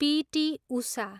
PT. Usha